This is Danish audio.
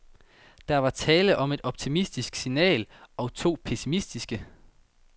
Der var tale om et optimistisk signal og to pessimistiske.